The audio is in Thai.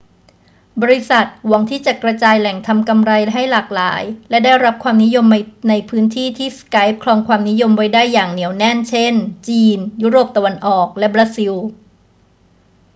บริษัทหวังที่จะกระจายแหล่งทำกำไรให้หลากหลายและได้รับความนิยมในพื้นที่ที่ skype ครองความนิยมไว้ได้อย่างเหนียวแน่น เช่น จีน ยุโรปตะวันออก และบราซิล